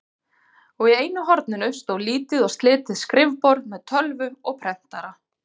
Og í einu horninu stóð lítið og slitið skrifborð með tölvu og prentara.